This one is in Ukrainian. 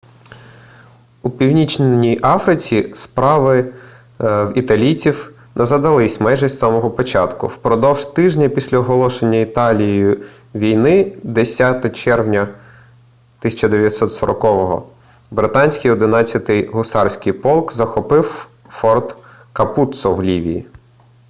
у північній африці справи в італійців не задались майже із самого початку впродовж тижня після оголошення італією війни 10 червня 1940 британський 11-й гусарський полк захопив форт капуццо в лівії